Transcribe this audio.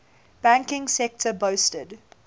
banking sector boasted